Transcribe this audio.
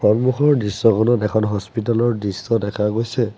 সন্মুখৰ দৃশ্যখনত এখন হস্পিতালৰ দৃশ্য দেখা গৈছে।